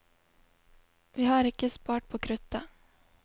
Vi har ikke spart på kruttet.